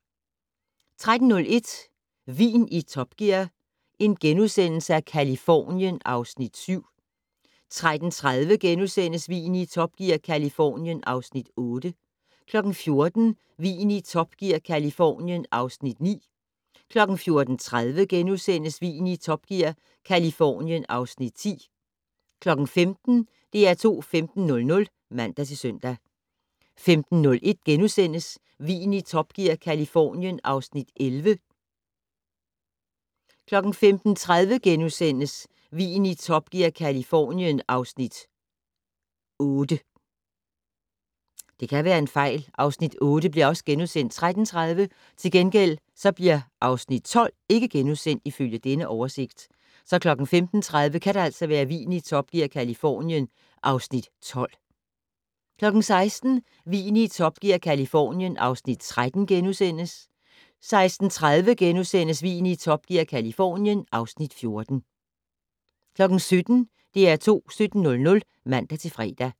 13:01: Vin i Top Gear - Californien (Afs. 7)* 13:30: Vin i Top Gear - Californien (Afs. 8)* 14:00: Vin i Top Gear - Californien (Afs. 9)* 14:30: Vin i Top Gear - Californien (Afs. 10)* 15:00: DR2 15:00 (man-søn) 15:01: Vin i Top Gear - Californien (Afs. 11)* 15:30: Vin i Top Gear - Californien (Afs. 8)* 16:00: Vin i Top Gear - Californien (Afs. 13)* 16:30: Vin i Top Gear - Californien (Afs. 14)* 17:00: DR2 17:00 (man-fre)